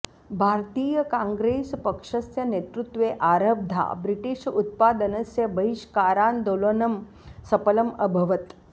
भारतीयकाङ्ग्रेस् पक्षस्य नेतृत्वे आरब्धा ब्रिटिश् उत्पादनस्य बहिष्कारान्दोलनं सपलम् अभवत्